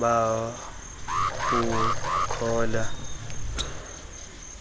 babucala